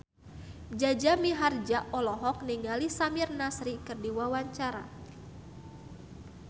Jaja Mihardja olohok ningali Samir Nasri keur diwawancara